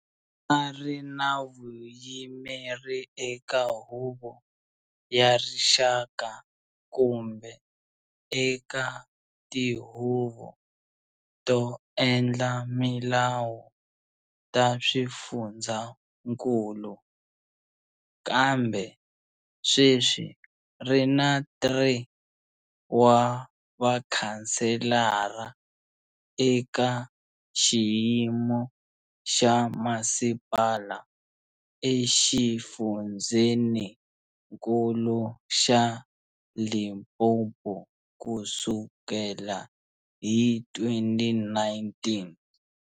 A ri na vuyimeri eka Huvo ya Rixaka kumbe eka tihuvo to endla milawu ta swifundzakulu, kambe sweswi ri na 3 wa vakhanselara eka xiyimo xa masipala exifundzenikulu xa Limpopo kusukela hi 2019.